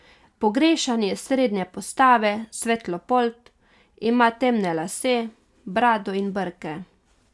Pogrešani je srednje postave, svetlopolt, ima temne lase, brado in brke.